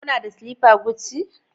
Kuna da slippers Gucci?